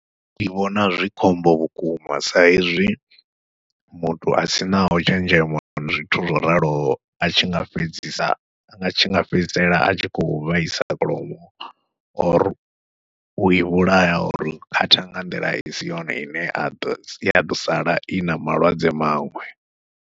Ndi vhona zwi khombo vhukuma sa izwi muthu a sinaho tshenzhemo na zwithu zwo raloho a tshi nga fhedzisa a tshi nga fhedzisela a tshi khou vhaisa kholomo, or u i vhulaya, or khatha nga nḓila i si yone i ne a ḓo, ya ḓo sala i na malwadze maṅwe.